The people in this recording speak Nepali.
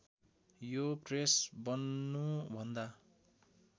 यो प्रेस बन्नुभन्दा